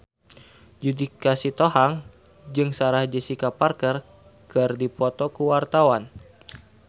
Judika Sitohang jeung Sarah Jessica Parker keur dipoto ku wartawan